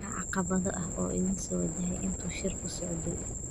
Maxaa caqabado ah oo idin soo wajahay intii uu shirku socday?